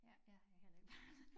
Ja jeg har heller ikke børn